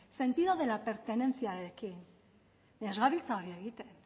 sentido de la pertenencia rekin ez gabiltza hori egiten